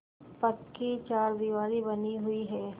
पक्की चारदीवारी बनी हुई है